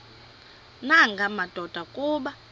nanga madoda kuba